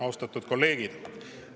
Austatud kolleegid!